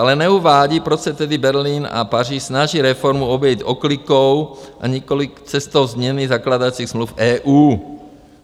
Ale neuvádí, proč se tedy Berlín a Paříž snaží reformu obejít oklikou a nikoliv cestou změny zakládacích smluv EU.